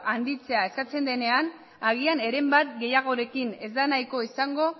handitzea eskatzen denean agian eren bat gehiagorekin ez da nahikoa izango